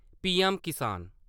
PM किसान